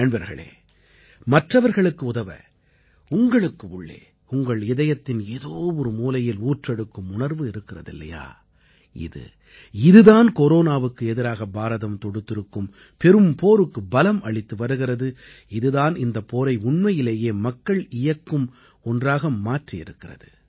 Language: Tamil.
நண்பர்களே மற்றவர்களுக்கு உதவ உங்களுக்கு உள்ளே உங்கள் இதயத்தின் ஏதோ ஒரு மூலையில் ஊற்றெடுக்கும் உணர்வு இருக்கிறது இல்லையா இது இது தான் கொரோனாவுக்கு எதிராக பாரதம் தொடுத்திருக்கும் பெரும் போருக்கு பலம் அளித்து வருகிறது இது தான் இந்தப் போரை உண்மையிலேயே மக்கள் இயக்கும் ஒன்றாக மாற்றி இருக்கிறது